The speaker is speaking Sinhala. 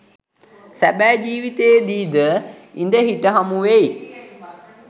සැබෑ ජීවිතයේදී ද ඉඳහිට හමුවෙයි